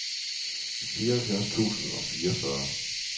fireoghalvfjerds tusind og fireogfyrre